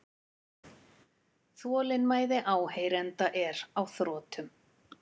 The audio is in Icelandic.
Þolinmæði áheyrenda er á þrotum.